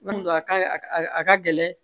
a ka a ka gɛlɛn